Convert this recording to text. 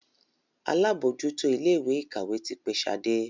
àlabòjuto Ilé-ìkàwé tí pé Shade.